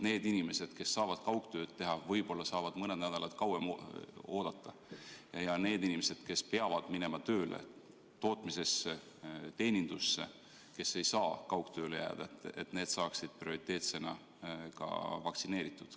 Need inimesed, kes saavad kaugtööd teha, võib-olla saavad mõne nädala kauem oodata, aga need inimesed, kes peavad minema tööle tootmisesse, teenindusse, kes ei saa kaugtööle jääda, ehk saaksid prioriteetsena vaktsineeritud.